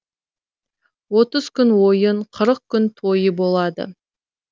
отыз күн ойын қырық күн тойы болады